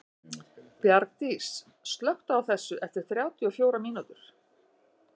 Bjargdís, slökktu á þessu eftir þrjátíu og fjórar mínútur.